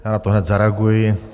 Já na to hned zareaguji.